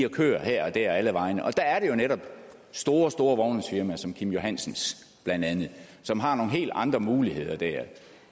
og kører her og dér og alle vegne og der er det jo netop store store vognmandsfirmaer som kim johansens som har nogle helt andre muligheder der